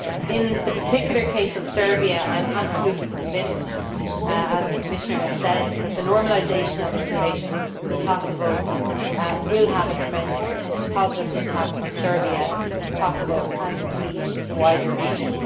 In the particular case of Serbia, I am absolutely convinced as the Commissioner has said that the normalisation of its relations with Kosovo will have a tremendous positive impact on Serbia, Kosovo and indeed the wider region.